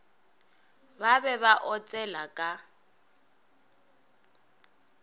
ba be ba otsela ka